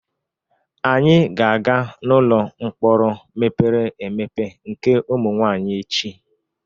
Anyị ga-aga n'ụlọ mkpọrọ mepere emepe nke ụmụ nwanyị echi.